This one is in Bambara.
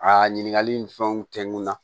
A ɲininkali ni fɛnw kɛ n kun na